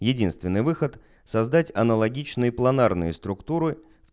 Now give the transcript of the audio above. единственный выход создать аналогичные планарные структуры